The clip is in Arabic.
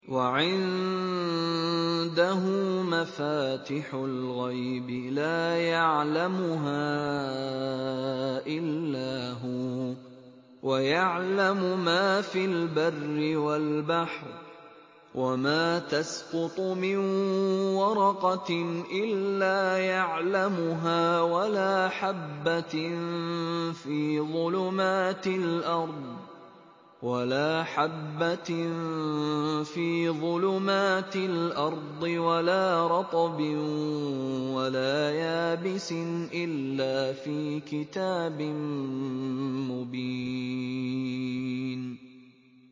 ۞ وَعِندَهُ مَفَاتِحُ الْغَيْبِ لَا يَعْلَمُهَا إِلَّا هُوَ ۚ وَيَعْلَمُ مَا فِي الْبَرِّ وَالْبَحْرِ ۚ وَمَا تَسْقُطُ مِن وَرَقَةٍ إِلَّا يَعْلَمُهَا وَلَا حَبَّةٍ فِي ظُلُمَاتِ الْأَرْضِ وَلَا رَطْبٍ وَلَا يَابِسٍ إِلَّا فِي كِتَابٍ مُّبِينٍ